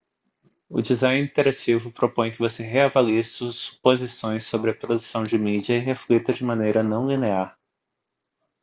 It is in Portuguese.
o design interativo propõe que você reavalie suas suposições sobre a produção de mídia e reflita de maneira não linear